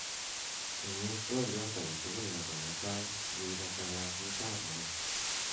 imis twolyot agetugul nebo mutai yeibata kasiit ab muut